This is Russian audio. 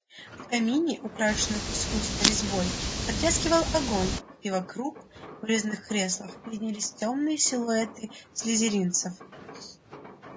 в камине украшенном искусной резьбой потрескивал огонь и вокруг в резных креслах виднелись тёмные силуэты слизеринцев